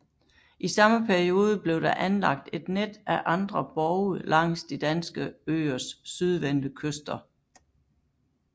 I samme periode blev der anlagt et net af andre borge langs de danske øers sydvendte kyster